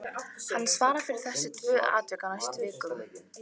Hann svarar fyrir þessi tvö atvik á næstu vikum.